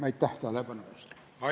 Aitäh tähelepanu eest!